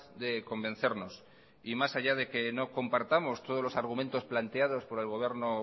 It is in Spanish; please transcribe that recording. de convencernos y más allá de que no compartamos todos los argumentos planteados por el gobierno